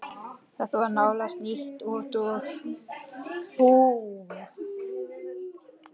Þetta var nánast nýtt út úr búð.